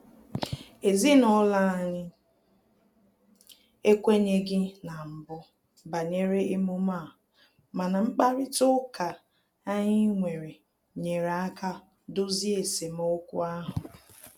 Ezinụlọ anyị ekwenyeghi na mbụ banyere emume a, mana mkparịta ụka anyị nwere nyere aka dozie esemokwu ahụ